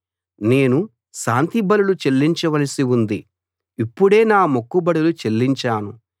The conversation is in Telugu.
నేను శాంతి బలులు చెల్లించవలసి ఉంది ఇప్పుడే నా మొక్కుబడులు చెల్లించాను